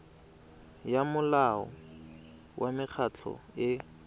ya molao wa mekgatlho e